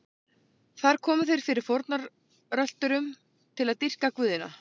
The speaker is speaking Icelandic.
Þar komu þeir fyrir fórnarölturum til að dýrka guðina.